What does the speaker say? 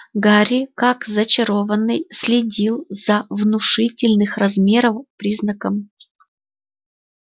гарри как зачарованный следил за внушительных размеров признаком